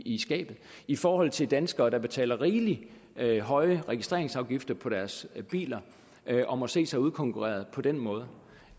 i skabet i forhold til danskere der betaler rigelig rigelig høje registreringsafgifter på deres biler og må se sig udkonkurreret på den måde